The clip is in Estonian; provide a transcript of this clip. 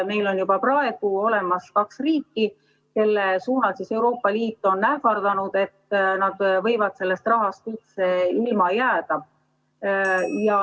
Meil on juba praegu olemas kaks riiki, kelle suunal on Euroopa Liit ähvardanud, et nad võivad sellest rahast üldse ilma jääda.